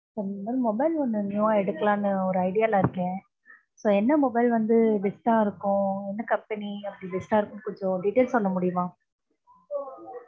Mobile ஒன்னு new வா எடுக்கலாம்னு ஒரு idea ல இருக்க. So என்ன மொபைல் வந்து best அ இருக்கும், என்ன comapny அப்படி best அ இருக்கும்னு கொஞ்சம் detail சொல்ல முடியுமா.